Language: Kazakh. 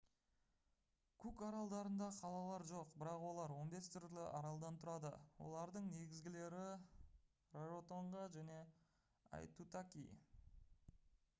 кук аралдарында қалалар жоқ бірақ олар 15 түрлі аралдан тұрады олардың негізгілері раротонга және аитутаки